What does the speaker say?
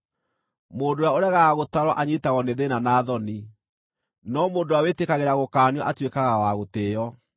Mũndũ ũrĩa ũregaga gũtaarwo anyiitagwo nĩ thĩĩna na thoni, no mũndũ ũrĩa wĩtĩkagĩra gũkaanio atuĩkaga wa gũtĩĩo.